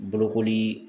Bolokoli